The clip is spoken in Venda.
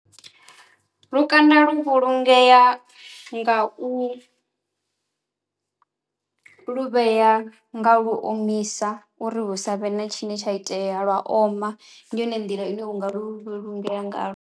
Lukanda lu vhulungea nga u , nga lu omisa uri hu savhe na tshine tsha itea lwa oma. Ndi yone nḓila ine u nga lu vhulungea nga lwo.